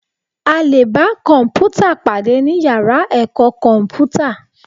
A lè bá kọ̀m̀pútà pàdé ní yàrá ẹ̀kọ́ kọ̀mpútà